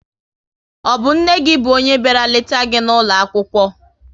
Ọ bụ nne gị bụ onye bịara leta gị n'ụlọ akwụkwọ?